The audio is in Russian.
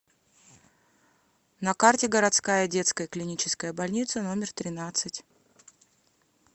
на карте городская детская клиническая больница номер тринадцать